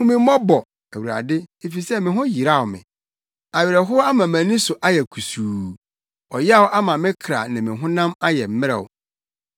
Hu me mmɔbɔ, Awurade, efisɛ me ho yeraw me; awerɛhow ama mʼani so ayɛ kusuu ɔyaw ama me kra ne me honam ayɛ mmerɛw.